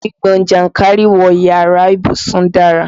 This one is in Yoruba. Gbígbọn jànkárìwọ̀ iyàrá ìbùsùn dara.